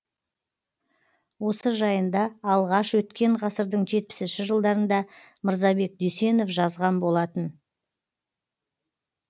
осы жайында алғаш өткен ғасырдың жетпісінші жылдарында мырзабек дүйсенов жазған болатын